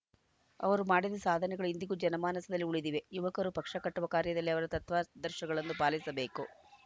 ಅವರು ಮಾಡಿದ ಸಾಧನೆಗಳು ಇಂದಿಗೂ ಜನಮಾನಸದಲ್ಲಿ ಉಳಿದಿವೆ ಯುವಕರು ಪಕ್ಷ ಕಟ್ಟುವ ಕಾರ್ಯದಲ್ಲಿ ಅವರ ತತ್ವಾದರ್ಶಗಳನ್ನು ಪಾಲಿಸಬೇಕು